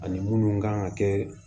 Ani munnu kan ka kɛ